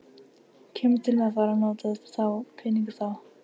Kemur til með að fara að nota þá peninga þá?